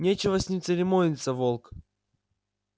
нечего с ними церемониться волк